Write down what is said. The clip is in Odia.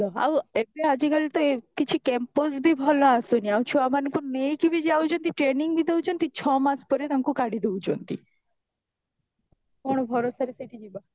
ଆଉ ଏବେ ଆଜିକାଲି ତ କିଛି campus ବି ଭଲ ଆସୁନି ଆଉ ଛୁଆ ମାନଙ୍କୁ ନେଇକି ବି ଯାଉଛନ୍ତି training ବି ଦଉଛନ୍ତି ଛଅ ମାସ ପରେ ତାଙ୍କୁ କାଢି ଦଉଛନ୍ତି କଣ ଭରସାରେ ସେଇଠି ଯିବ